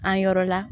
An yɔrɔ la